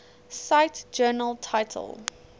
cite journal title